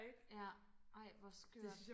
ja ej hvor skørt